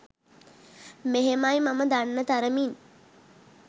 මෙහෙමයි මම දන්න තරමින්